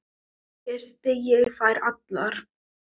Kyssti ég þær allar.